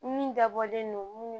Min dabɔlen don mun